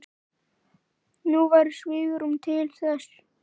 Nú væri svigrúm til þess.